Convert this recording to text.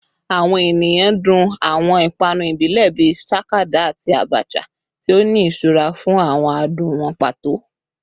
Awọn eniyan dun awọn ipanu ibile bii sakada ati abacha, ti o ni iṣura fun awọn adun wọn pato